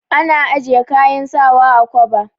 Ana ajiye kayan sawa a kwaba.